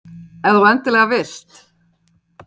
Ef þú endilega vilt.